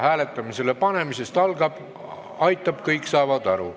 Hääletamisele panemisest aitab, kõik saavad aru.